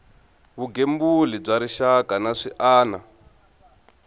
vugembuli bya rixaka na swiana